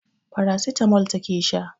Paracetamol take sha